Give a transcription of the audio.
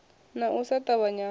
na u sa ṱavhanya ha